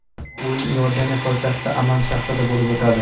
O‘yin Iordaniya poytaxti Amman shahrida bo‘lib o‘tadi.